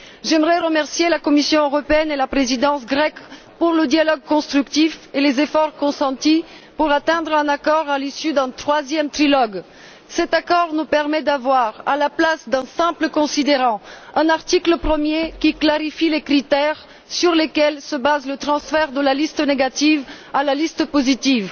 J'aimerais remercier la Commission européenne et la présidence grecque pour le dialogue constructif et les efforts consentis afin de parvenir à un accord à l'issue d'un troisième trilogue. Cet accord nous permet d'avoir, à la place d'un simple considérant, un article premier qui clarifie les critères sur lesquels se base le transfert de la liste négative à la liste positive.